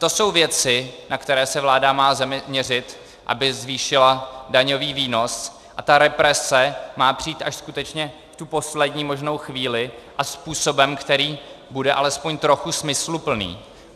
To jsou věci, na které se vláda má zaměřit, aby zvýšila daňový výnos, a ta represe má přijít až skutečně v tu poslední možnou chvíli a způsobem, který bude alespoň trochu smysluplný.